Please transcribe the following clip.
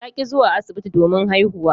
Ta ki zuwa asibiti domin haihuwa.